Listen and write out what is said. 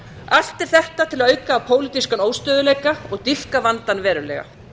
allt er þetta til að auka á pólitískan óstöðugleika og dýpka vandann verulega